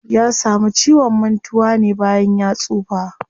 Ya samu ciwon mantuwa ne bayan ya tsufa.